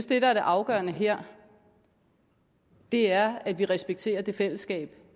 det der er det afgørende her er at vi respekterer det fællesskab